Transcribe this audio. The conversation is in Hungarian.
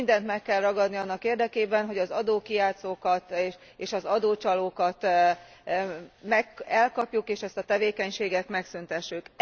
Mindent meg kell ragadni annak érdekében, hogy az adókijátszókat és az adócsalókat elkapjuk, és ezt a tevékenységet megszüntessük.